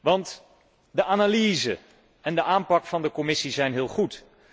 Want de analyse en de aanpak van de Commissie zijn heel goed.